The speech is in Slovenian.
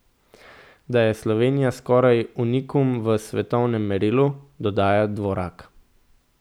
Da je Slovenija skoraj unikum v svetovnem merilu, dodaja Dvorak.